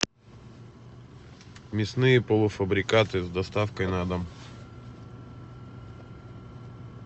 мясные полуфабрикаты с доставкой на дом